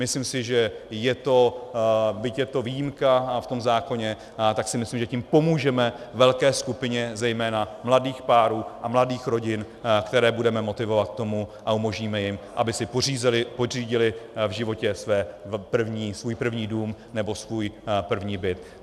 Myslím si, že je to, byť je to výjimka v tom zákoně, tak si myslím, že tím pomůžeme velké skupině zejména mladých párů a mladých rodin, které budeme motivovat k tomu a umožníme jim, aby si pořídily v životě svůj první dům nebo svůj první byt.